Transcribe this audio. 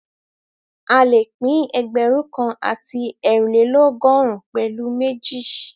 A lè pín ẹgbẹ̀rún kan àti eerinlelogọrun pẹ̀lu méjì